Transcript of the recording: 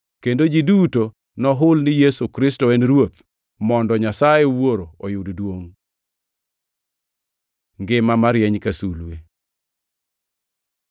kendo ji duto nohul ni Yesu Kristo en Ruoth, mondo Nyasaye Wuoro oyud duongʼ. Ngima marieny ka sulwe